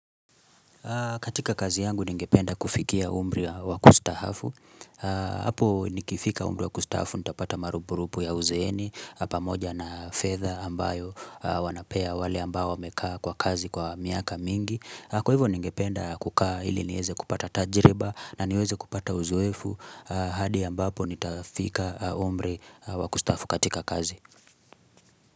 Katika kazi yangu ni ningependa kufikia umri wa kustaafu. Apo ni kifika umri wa kustaafu, nitapata marupurupu ya uzeeni, pamoja na fedha ambayo wanapea wale ambao wamekaa kwa kazi kwa miaka mingi. Kwa hivyo ningependa kukaa ili niweze kupata tajiriba na niweze kupata uzoefu. Hadi ambapo nitafika umri wa kustaafu katika kazi.